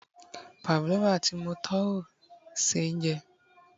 pavlova ti mo tọ́wò ṣe jẹ